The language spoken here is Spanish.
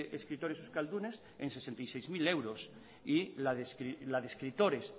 escritores euskaldunes en sesenta y seis mil euros y la de escritores